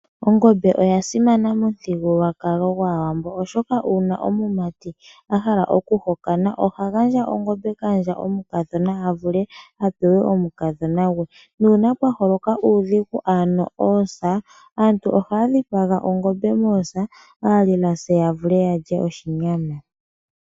Ongombe oya simana momuthigululwakalo gwaAwambo, oshoka uuna omumati a hala oku hokana, oha gandja ongombe kaandja omukadhona, a vule a pewe omukadhona gwe, nuuna pwa holoka uudhigu ano oosa, aantu ohaa dhipaga ongombe moosa, aalilasa ya vule ya lye oshinyama.